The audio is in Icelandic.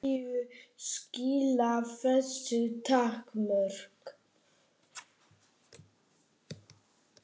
En hverju skila þessu takmörk?